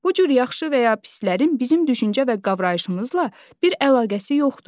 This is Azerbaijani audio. Bu cür yaxşı və ya pislərin bizim düşüncə və qavrayışımızla bir əlaqəsi yoxdur.